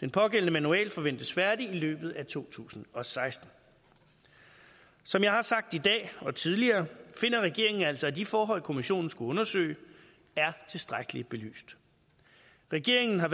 den pågældende manual forventes færdig i løbet af to tusind og seksten som jeg har sagt i dag og tidligere finder regeringen altså at de forhold kommissionen skulle undersøge er tilstrækkeligt belyst regeringen har